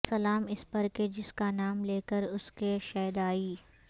سلام اس پر کہ جس کا نام لے کر اس کے شیدائی